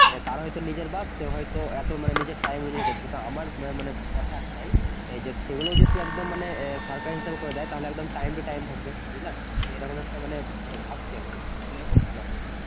কারোর হয়তো নিজের বাস সে হয়তো এ নিজের time অনুযায়ী করছে তো আমার মানে কথা একটাই সে গুলো যদি একদম মানে আহ সরকারি হিসেবে করে দেয় তাহলে একদম time to time থাকবে বুঝলা আমি এরকম একটা মানে ভাবছি আরকি করলে খুব ভালো হয়